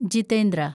Jitendra